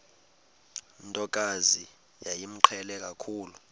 ntokazi yayimqhele kakhulu